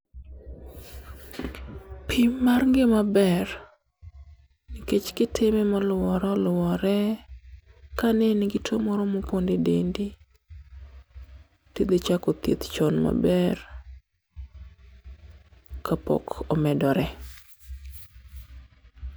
Pim mar ngima ber nikech kitime moluwore oluwore, kanein gi two moro moponde dendi, tidhi chako thieth chon maber kapok omedore.